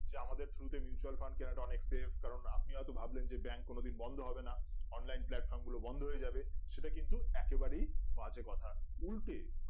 যে আমাদের through তে mutual fund কিনাটা অনেক save কারণ আপনি হয়তো ভাবলেন যে bank কোনোদিন বন্ধ হবে না online platform গুলো বন্ধ হয়ে যাবে সেটা কিন্তু একেবারেই বাজে কথা উল্টে